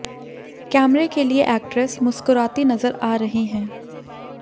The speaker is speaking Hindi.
कैमरे के लिए एक्ट्रेस मुस्कुराती नजर आ रही हैं